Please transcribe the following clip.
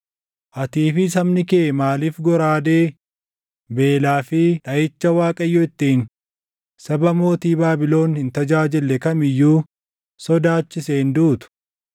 Atii fi sabni kee maaliif goraadee, beelaa fi dhaʼicha Waaqayyo ittiin saba mootii Baabilon hin tajaajille kam iyyuu sodaachiseen duutu?